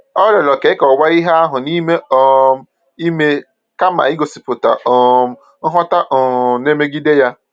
O rịọrọ ka e kọwaa ihe ahụ n’ime um ime kama igosipụta um nghọta um na-emegide ya.